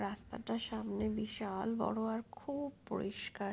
রাস্তাটা সামনে বিশা--ল--- বড়ো আর খুব-- পরিষ্কার।